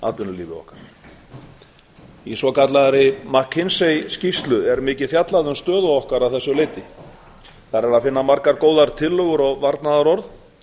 atvinnulífi okkar í svokallaðri mckinsey skýrslu er mikið fjallað um stöðu okkar að þessu leyti þar er að finna margar góðar tillögur og varnaðarorð